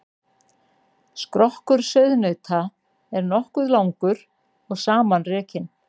Skrokkur sauðnauta er nokkuð langur og samanrekin.